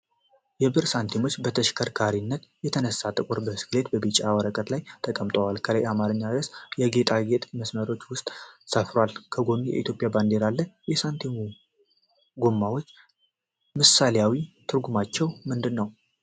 የብር ሳንቲሞችን በተሽከርካሪነት የተካ ጥቁር ቢስክሌት በቢጫ ወረቀት ላይ ተቀምጧል። ከላይ የአማርኛ ርዕስ በጌጥ ያጌጠ መስመር ውስጥ ሰፍሯል፤ ከጎኑ የኢትዮጵያ ባንዲራ አለ። የሳንቲም ጎማዎች ምሳሌያዊ ትርጉም ምንድን ነው?